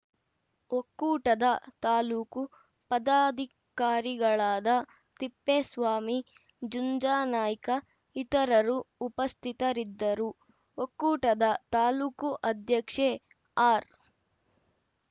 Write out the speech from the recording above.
ಒಕ್ಕೂಟದ ತಾಲೂಕು ಪದಾಧಿಕಾರಿಗಳಾದ ತಿಪ್ಪೇಸ್ವಾಮಿ ಜುಂಜಾನಾಯ್ಕ ಇತರರು ಉಪಸ್ಥಿತರಿದ್ದರು ಒಕ್ಕೂಟದ ತಾಲೂಕು ಅಧ್ಯಕ್ಷೆ ಆರ್‌